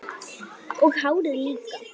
Og hárið líka!